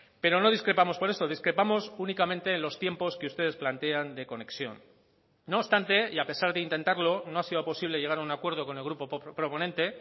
pero no discrepamos por eso discrepamos únicamente en los tiempos que ustedes plantean de conexión no obstante y a pesar de intentarlo no ha sido posible llegar a un acuerdo con el grupo proponente